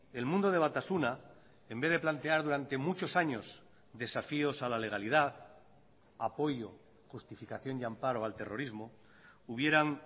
el mundo de batasuna en vez de plantear durante muchos años desafíos a la legalidad apoyo justificación y amparo al terrorismo hubieran